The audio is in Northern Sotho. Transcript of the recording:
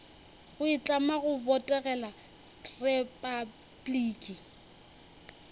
go itlama go botegela repabliki